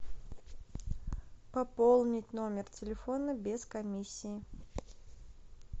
пополнить номер телефона без комиссии